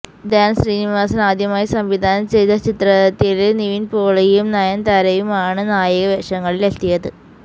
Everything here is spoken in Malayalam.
ധ്യാന് ശ്രീനിവാസന് ആദ്യമായി സംവിധാനം ചെയ്ത ചിത്രത്തില് നിവിന് പോളിയും നായന്താരയുമാണ് നായക വേഷങ്ങളില് എത്തിയത്